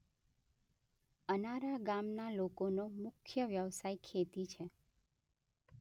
અનારા ગામના લોકોનો મુખ્ય વ્યવસાય ખેતી છે.